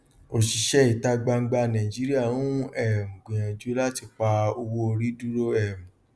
òṣìṣẹ ìta gbangba nàìjíríà ń um gbìyànjú láti pa owó orí dúró um